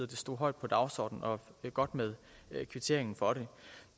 det stod højt på dagsordenen og det er godt med kvitteringen for det